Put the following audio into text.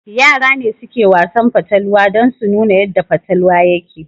Yara ne suke Wasan fatalwa dan su nuna yadda fatalwa yake